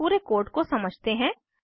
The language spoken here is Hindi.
अब पूरे कोड को समझते हैं